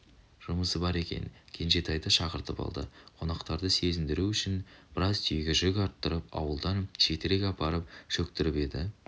жұмысы бар екен кенжетайды шақыртып алды қонақтарды сезіндіру үшін біраз түйеге жүк арттырып ауылдан шетірек апарып шөктіртіп еді